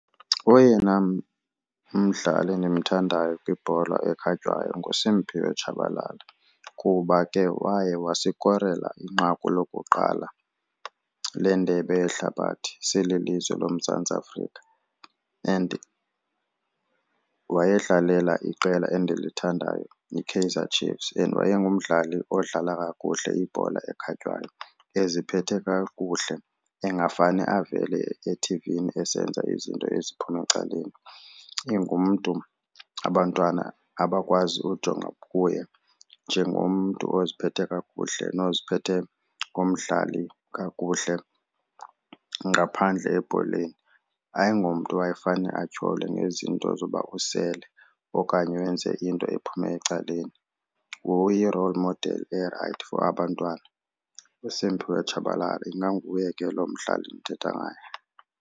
Oyena mdlali endimthandayo kwibhola ekhatywayo nguSimphiwe Tshabalala kuba ke waye wasikorela inqaku lokuqala lendebe yehlabathi sililizwe loMzantsi Afrika and wayedlalela iqela endilithandayo iKaizer Chiefs and wayengumdlali odlala kakuhle ibhola ekhatywayo, eziphethe kakuhle engafani avele ethivini esenza izinto eziphuma ecaleni. Ingumntu abantwana abakwazi ujonga kuye njengomntu oziphethe kakuhle noziphethe ngomdlali kakuhle ngaphandle ebholeni. Ayingomntu wayefane atyholwe ngezinto zoba usele okanye wenze into ephuma ecaleni. Nguye i-role model erayithi for abantwana uSiphiwe Tshabalala, inganguye ke lo mdlali ndithetha ngaye.